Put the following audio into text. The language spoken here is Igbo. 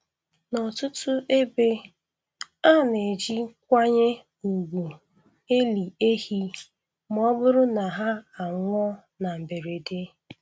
N’ọtụtụ ebe, a na-eji nkwanye ùgwù eli ehi ma ọ bụrụ na ha anwụọ na mberede.